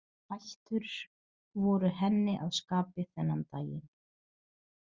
Hættur voru henni að skapi þennan daginn.